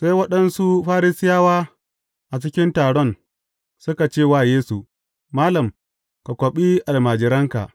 Sai waɗansu Farisiyawa a cikin taron suka ce wa Yesu, Malam, ka kwaɓi almajiranka!